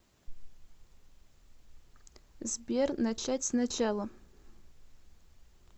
сбер начать с начала